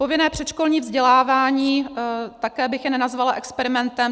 Povinné předškolní vzdělávání - také bych je nenazvala experimentem.